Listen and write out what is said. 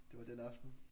Det var den aften